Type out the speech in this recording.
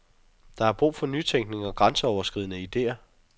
Der er brug for nytænkning og grænseoverskridende ideer.